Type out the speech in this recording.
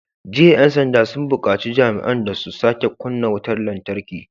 Jiya 'yan sanda sun bukaci jami'an da su sake kunna wutar lantarki!"